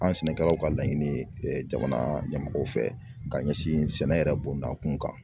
An sɛnɛkɛlaw ka laɲini ye jamana ɲɛmaaw fɛ ka ɲɛsin sɛnɛ yɛrɛ bondakun kan